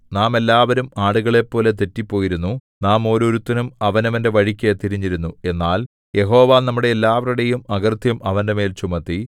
നാം എല്ലാവരും ആടുകളെപ്പോലെ തെറ്റിപ്പോയിരുന്നു നാം ഓരോരുത്തനും അവനവന്റെ വഴിക്കു തിരിഞ്ഞിരുന്നു എന്നാൽ യഹോവ നമ്മുടെ എല്ലാവരുടെയും അകൃത്യം അവന്റെമേൽ ചുമത്തി